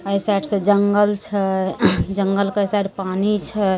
अ ई साइड से जंगल छे जंगल के ई साइड पानी छे।